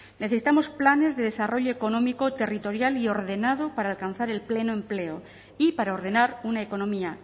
necesitamos planes de desarrollo económico territorial y ordenado para alcanzar el pleno empleo y para ordenar una economía